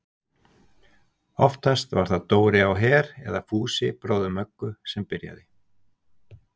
Oftast var það Dóri á Her eða Fúsi bróðir Möggu sem byrjaði.